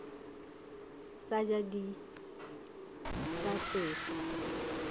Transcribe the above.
sa ja di sa tsefe